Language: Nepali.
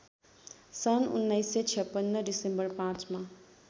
सन् १९५६डिसेम्बर ५ मा